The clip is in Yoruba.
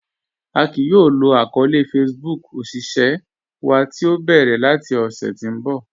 A kìí yóò lò àkọọlẹ̀ Facebook òṣìṣẹ̀ wa tí o bẹ́rẹ̀ lati ọṣẹ̀ tí n bọ̀